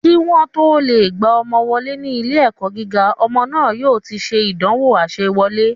Kí wọ́n o tó lè gba ọmọ wọlé ní ilé ẹ̀kọ́ gíga, ọmọ náà yóò ti se ìdánwò àsewọlé